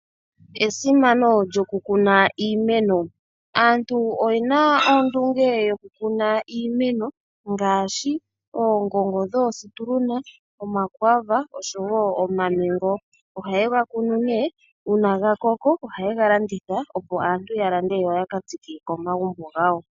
Esimano lyo kuukuna iimeno. Aantu oye na ondunge yokukuna iimeno ngaashi oongongo dhoo Situluna, omakwaava, oshowo omaMango. Oha ye ga kunu nee, uuna ga koko oha ye ga landitha opo aantu ya lande yo yaka tsike komagumbo gawo.